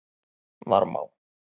Varmá